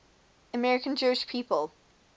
american jewish people